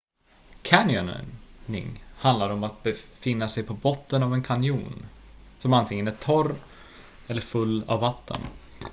canyoning handlar om att befinna sig på botten av en kanjon som antingen är torr eller full av vatten